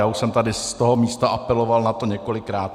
Já už jsem tady z toho místa apeloval na to několikrát.